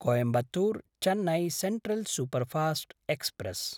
Coimbatore-Chennai central superfast express